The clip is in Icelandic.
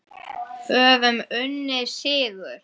Höfum unnið sigur.